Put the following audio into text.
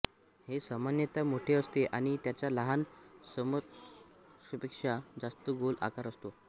हे सामान्यतः मोठे असते आणि त्याच्या लहान समकक्षापेक्षा जास्त गोल आकार असतो